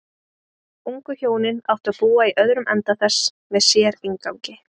Ungu hjónin áttu að búa í öðrum enda þess með sérinngangi.